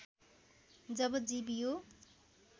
जब जीव यो